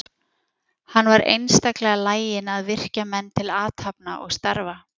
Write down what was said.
Hann var einstaklega laginn að virkja menn til athafna og starfa.